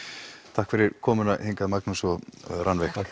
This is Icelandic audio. takk fyrir komuna hingað Magnús og Rannveig